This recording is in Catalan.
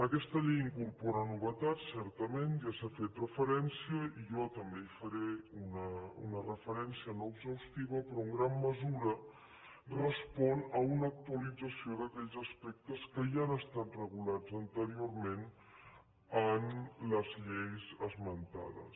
aquesta llei incorpora novetats certament ja s’hi ha fet referència jo també hi faré una referència no exhaustiva però en gran mesura respon a una actualització d’aquells aspectes que ja han estat regulats anteriorment en les lleis esmentades